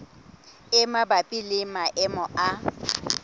e mabapi le maemo a